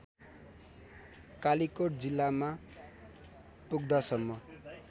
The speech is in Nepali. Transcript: कालीकोट जिल्लामा पुग्दासम्म